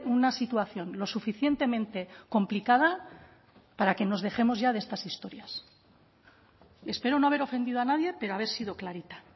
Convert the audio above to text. una situación lo suficientemente complicada para que nos dejemos ya de estas historias y espero no haber ofendido a nadie pero haber sido clarita